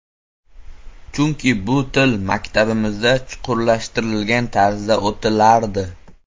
Chunki bu til maktabimizda chuqurlashtirilgan tarzda o‘qitilardi.